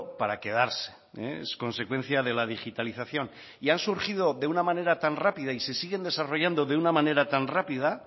para quedarse es consecuencia de la digitalización y han surgido de una manera tan rápida y se siguen desarrollando de una manera tan rápida